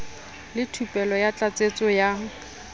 le thupelo ya tlatsetso ya